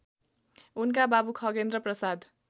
उनका बाबु खगेन्द्रप्रसाद